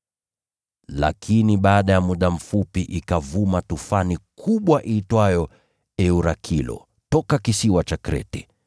Lakini baada ya muda mfupi ikavuma tufani kubwa iitwayo “Eurakilo” toka kisiwa cha Krete.